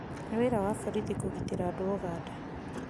Nĩ wĩra wa borithi kũgitĩra andũ a Uganda